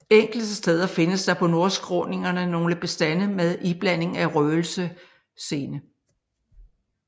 Enkelte steder findes der på nordskråningerne nogle bestande med iblanding af røgelsesene